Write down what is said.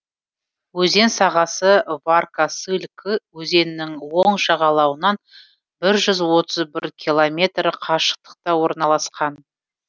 өзен сағасы варка сыль кы өзенінің оң жағалауынан бір жүз отыз бір километр қашықтықта орналасқан